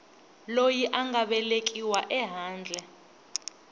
loyi a nga velekiwa ehandle